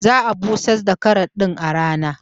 Za'a busar da kasar din a rana